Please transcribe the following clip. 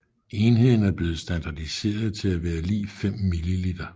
Enheden er blevet standardiseret til at være lig 5 ml